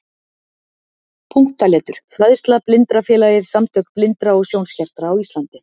Punktaletur Fræðsla Blindrafélagið- Samtök blindra og sjónskertra á Íslandi.